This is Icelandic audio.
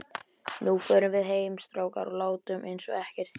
Nú förum við heim, strákar, og látum einsog ekkert sé.